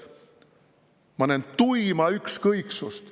Ma näen tuima ükskõiksust.